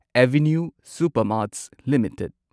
avenue Supermarts limited